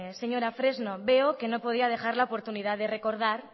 señora fresno veo que no podía dejar de la oportunidad de recordar